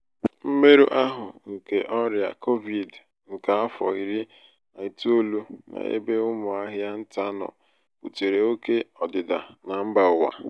mmerụahụ nke ọrịa kovid nke afọ iri na itoolu n'ebe ụmụ ahịa ntà nọ butere òké ọdịda na mba ụwa